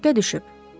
O eşqə düşüb.